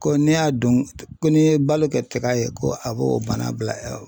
Ko n'i y'a don ko n'i ye balo kɛ tiga ye ko a b'o bana bila i la.